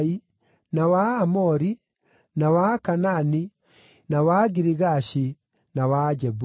na wa Aamori, na wa Akaanani, na wa Agirigashi, na wa Ajebusi.”